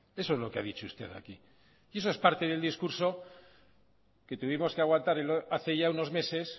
eso es lo que ha dicho usted aquí y eso es parte del discurso que tuvimos que aguantar hace ya unos meses